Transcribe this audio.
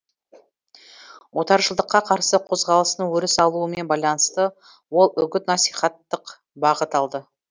отаршылдыққа қарсы қозғалыстың өріс алуымен байланысты ол үгіт насихаттық бағыт алды